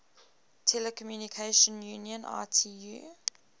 telecommunication union itu